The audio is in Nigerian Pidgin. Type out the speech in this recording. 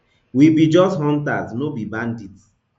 we be just hunters no be bandits